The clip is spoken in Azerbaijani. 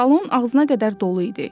Salon ağzına qədər dolu idi.